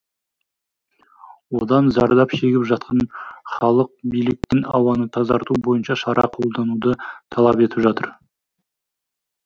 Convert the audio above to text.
одан зардап шегіп жатқан халық биліктің ауаны тазарту бойынша шара қолдануды талап етіп жатыр